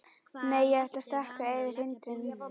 Nei, ég ætla að stökkva yfir hindrun.